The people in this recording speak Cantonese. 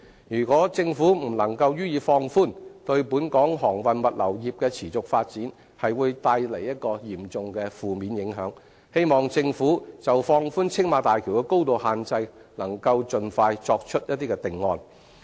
如果政府不能予以放寬，對本港航運物流業的持續發展會帶來嚴重的負面影響，希望政府就放寬青馬大橋的高度限制能夠盡快作出定案。